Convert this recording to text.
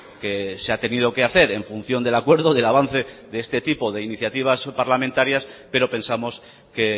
que se ha tenido que hacer en función del acuerdo del avance de este tipo de iniciativas parlamentarias pero pensamos que